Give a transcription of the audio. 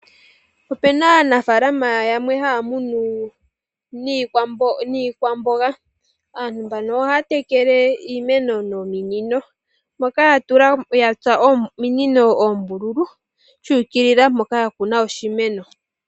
Opena aanafaalama yamwe haamunu iikwamboga, aantu mbono ohaa tekele iimeno nominino moka yatsa ominino oombululu dhuukilila mpoka yakuna oshimeno.